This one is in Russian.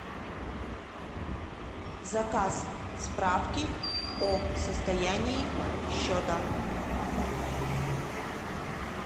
заказ справки о состоянии счета